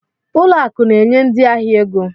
Ụlọ akụ na-enye ndị ahịa ego